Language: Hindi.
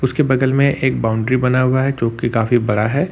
उसके बगल में एक बाउंड्री बना हुआ है जो कि काफी बड़ा है।